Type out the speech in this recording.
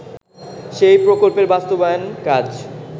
সেই প্রকল্পের বাস্তবায়ন কাজ